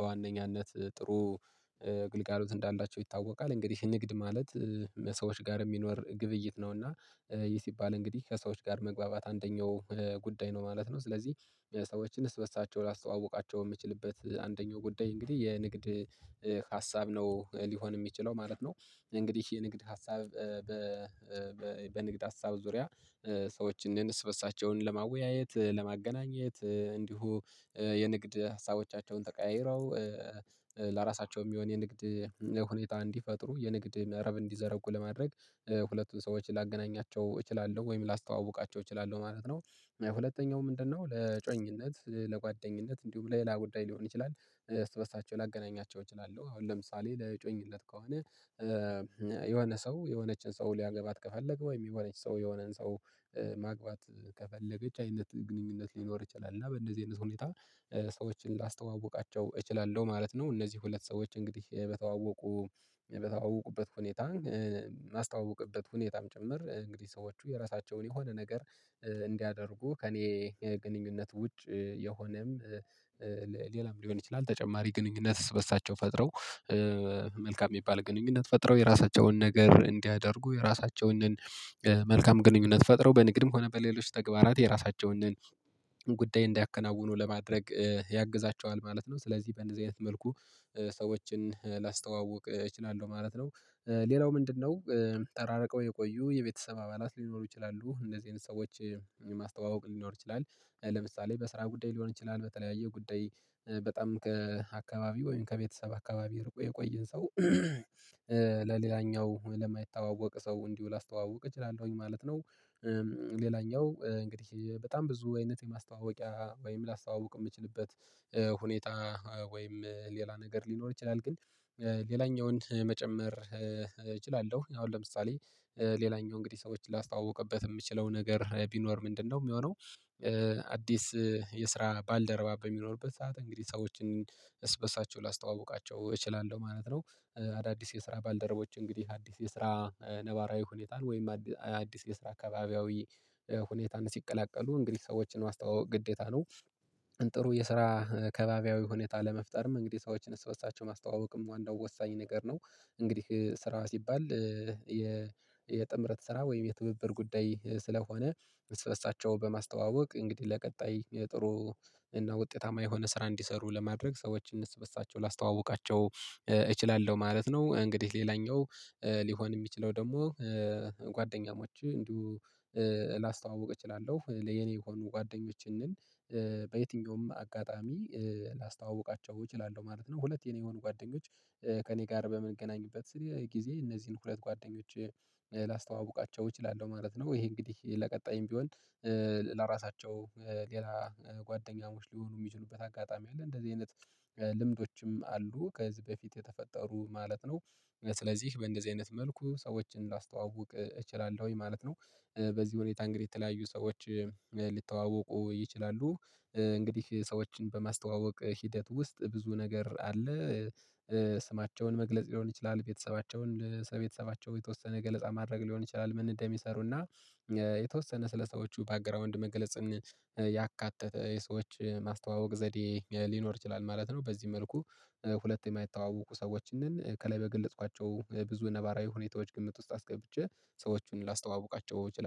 በዋነኛነት ጥሩ እግልጋሎት እንዳላቸው ይታወቃል። እንግዲህ ንግድ ማለት ሰዎች ጋር የሚኖር ግብይት ነውና። ይህ ሲባል እንግዲህ ከሰዎች ጋር መግባባት አንደኛው ጉዳይ ነው ማለት ነው። ስለዚህ ሰዎችን እርስበርሳቸው ላስተዋውቃቸው የምችልበት አንደኛው ጉዳይ እንግዲህ የንግድ ሀሳብ ነው ሊሆን የሚችለው ማለት ነው። እንግዲህ የንግድ ሀሳብ። በንግድ ሀሳብ ዙሪያ ሰዎችን በእርበርሳቸውን ለማወያየት ለማገናኘት እንዲሁ የንግድ ሀሳቦቻቸውን ተቀያይረው ለራሳቸው የሚሆን የንግድ ሁኔታ እንዲፈጥሩ የንግድ መረብ እንዲዘረጉ ለማድረግ ሁለቱን ሰዎችን ላገናኛቸው እችላለሁ ወይም ላስተዋውቃቸው እችላለሁ ማለት ነው። ሁለተኛው ምንድነው? ለጮኝነት ለጓደኝነት እንዲሁም ለሌላ ጉዳይ ሊሆን ይችላል እርስበርሳቸው ላገናኛቸው እችላለሁ አሁን ለምሳሌ ለጮኝለት ከሆነ። የሆነ ሰው የሆነችን ሰው ሊያገባት ከፈለገ ወይ የሚሆነች ሰው የሆነን ሰው ማግባት ከፈለገች አይነት ግንኙነት ሊኖር ይችላል። እና በእንደዚህ አይነት ሁኔታ ሰዎችን ላስተዋውቃቸው እችላለሁ ማለት ነው። እነዚህ ሁለት ሰዎች እንግዲህ በተዋወቁ በተዋወቁበት ሁኔታ ማስተዋወቅበት ሁኔታም ጭምር እንግዲህ ሰዎቹ የራሳቸውን የሆነ ነገር እንዲያደርጉ ከእኔ ግንኙነት ውጭ የሆነም ሊሆን ይችላል። ተጨማሪ ግንኙነትስ እርስበርሳቸው ፈጥረው መልካም የሚባል ግንኙነት ፈጥረው የራሳቸውን ነገር እንዲያደርጉ የራሳቸውንን መልካም ግንኙነት ፈጥረው በንግድም ከሆነ በሌሎች ተግባራት የራሳቸውን ጉዳይ እንዲያከናውኑ ለማድረግ ያግዛቸዋል ማለት ነው። ስለዚህ በእንደዚህ አይነት መልኩ ሰዎችን ላስተዋውቅ እችላለሁ ማለት ነው። ሌላው ምንድነው? ተራረቀው የቆዩ የቤተሰብ አባላት ሊኖሩ ይችላሉ እንደዚህ አይነት ሰዎች ማስተዋወቅ ሊኖር ይችላል። ለምሳሌ በስራ ጉዳይ ሊሆን ይችላል በተለያየ ጉዳይ በጣም ከአካባቢ ወይም ከቤተሰብ አካባቢ ርቆ የቆየን ሰው ለሌላኛው ለማይታወቅ ሰው እንዲሁ ላስተዋውቅ እችላለሁኝ ማለት ነው። ሌላኛው እንግዲህ በጣም ብዙ አይነት የማስተዋወቂያ ወይም ላስተዋውቅ የምችልበት። ሁኔታ ወይም ሌላ ነገር ሊኖር ይችላል። ግን ሌላኛውን መጨመር እችላለሁ አሁን ለምሳሌ ሌላኛው እንግዲህ ሰዎች ላስተዋውቅበት የምችለው ነገር ቢኖር ምንድነው የሚሆነው? አዲስ የስራ ባልደረባ በሚኖርበት ሰዓት እንግዲህ ሰዎችን እርስበርሳቸው ላስተዋውቃቸው እችላለሁ ማለት ነው። አዳዲስ የስራ ባልደረቦች እንግዲህ አዲስ የስራ ነባራዊ ሁኔታን ወይም አዲስ የስራ አካባቢያዊ ሁኔታን ሲቀላቀሉ እንግዲህ ሰዎችን ማስጠዋወቅ ግዴታ ነው። ጥሩ የስራ ከባቢያዊ ሁኔታ ለመፍጠርም እንግዲህ ሰዎችን እሱ በእርስበርሳቸው ማስተዋወቅም ዋናው ወሳኝ ነገር ነው። እንግዲህ ስራ ሲባል የጥምረት ስራ ወይም የትብብር ጉዳይ ስለሆነ እርስበርሳቸው በማስተዋወቅ እንግዲህ ለቀጣይ የጥሩ እና ውጤታማ የሆነ ስራ እንዲሰሩ ለማድረግ ሰዎችን እርስበርሳቸው ላስተዋውቃቸው እችላለሁ ማለት ነው። እንግዲህ ሌላኛው ሊሆን የሚችለው ደግሞ ጓደኛሞች እንዲሁ ላስተዋውቅ እችላለሁ የኔ የሆኑ ጓደኞችን እንል በየትኛውም አጋጣሚ ላስታውቃቸው እችላለሁ ማለት ነው። ሁለት የኔ የሆኑ ጓደኞች ከእኔ ጋር በምንገናኝበት ስንል ጊዜ እነዚህን ሁለት ጓደኞች ላስተዋውቃቸው እችላለሁ ማለት ነው። ይሄ እንግዲህ ለቀጣይም ቢሆን ለራሳቸው ሌላ ጓደኛሞች ሊሆኑ የሚችሉበት አጋጣሚ አለ። እንደዚህ አይነት ልምዶችም አሉ። ከዚህ በፊት የተፈጠሩ ማለት ነው። ስለዚህ በእንደዚህ አይነት መልኩ ሰዎችን ላስተዋውቅ እችላለሁ ማለት ነው። በዚህ ሁኔታ እንግዲህ የተለያዩ ሰዎች ሊተዋወቁ ይችላሉ። እንግዲህ ሰዎችን በማስተዋወቅ ሂደት ውስጥ ብዙ ነገር አለ። ስማቸውን መግለጽ ሊሆን ይችላል። ቤተሰባቸውን ስለ ቤተሰባቸው የተወሰነ ገለጻ ማድረግ ሊሆን ይችላል። መንደም ይሰሩና የተወሰነ ስለሰዎቹ ባክግራውንድ መግለጽም ያካተተ የሰዎች ማስተዋወቅ ዘዴ ሊኖር ይችላል ማለት ነው። በዚህ መልኩ ሁለት የማይታወቁ ሰዎችንን ከላይ በገለጽኳቸው ብዙ ነባራዊ ሁኔታዎች ግምት ውስጥ አስገብቼ ሰዎችን ላስተዋውቃቸው እችላለሁ